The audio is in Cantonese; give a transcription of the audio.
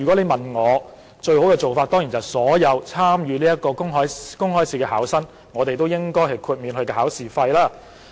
我認為，最好的做法當然是政府為所有參與這個公開試的考生代繳考試費。